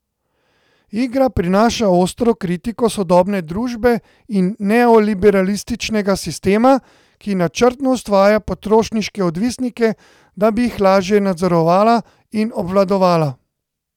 Igra prinaša ostro kritiko sodobne družbe in neoliberalističnega sistema, ki načrtno ustvarja potrošniške odvisnike, da bi jih lažje nadzorovala in obvladovala.